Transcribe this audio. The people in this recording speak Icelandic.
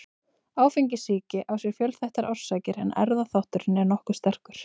Áfengissýki á sér fjölþættar orsakir en erfðaþátturinn er nokkuð sterkur.